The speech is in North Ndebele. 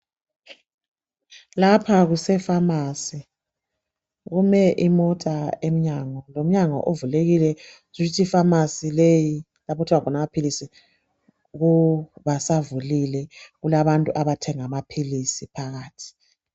Lapha kuse pharmacy kumele imota emnyango lomnyama uvulekile kutshukuthi I pharmacy leyi lapho okuthengwa khona basavulile kulabantu abathenga amaphilisi phakathi.